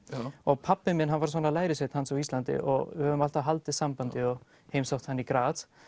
og pabbi minn hann var svona lærisveinn hans á Íslandi og við höfum alltaf haldið sambandi og heimsótt hann í